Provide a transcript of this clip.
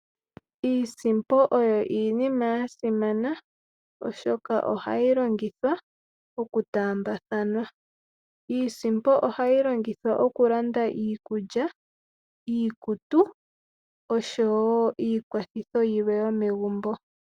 Iisimpo oyo iinima yasimana, oshoka ohayi longithwa oku taambathanwa. Iisimpo ohayi longithwa oku landa iikulya, iikutu osho wo iikwathitho yilwe yomegumbo.